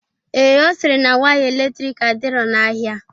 Ee, Ọ sịrị na waya eletrik adirọ n'ahia.